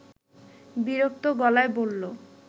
বিরক্ত গলায় বলল